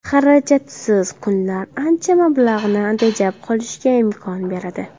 Xarajatsiz kunlar ancha mablag‘ni tejab qolishga imkon beradi.